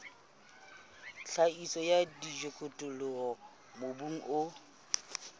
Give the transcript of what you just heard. tlhahiso ya dijothollo mobung o